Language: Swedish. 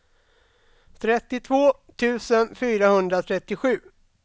trettiotvå tusen fyrahundratrettiosju